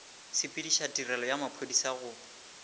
sepediša tirelo ya maphodisa go